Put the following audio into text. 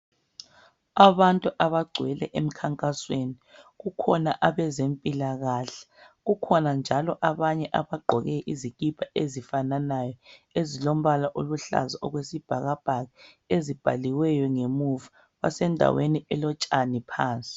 Abantu abagcwele emkhankasweni kukhona abezempilakahle kukhona njalo abanye abagqoke izikipa ezifananayo ezilombala oluhlaza okwesibhakabhaka ezibhaliweyo ngemuva basendaweni elotshani phansi.